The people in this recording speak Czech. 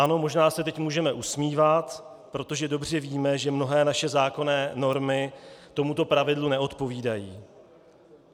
Ano, možná se teď můžeme usmívat, protože dobře víme, že mnohé naše zákonné normy tomuto pravidlu neodpovídají.